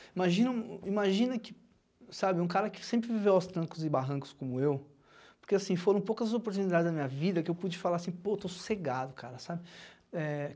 Imagina um, imagina que, sabe, um cara que sempre viveu aos trancos e barrancos como eu, porque assim, foram poucas oportunidades na minha vida que eu pude falar assim, pô, estou sossegado, cara, sabe? É